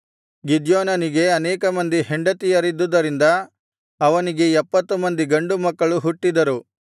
ಗಿದ್ಯೋನನಿಗೆ ಅನೇಕ ಮಂದಿ ಹೆಂಡತಿಯರಿದ್ದುದರಿಂದ ಅವನಿಗೆ ಎಪ್ಪತ್ತು ಮಂದಿ ಗಂಡು ಮಕ್ಕಳು ಹುಟ್ಟಿದರು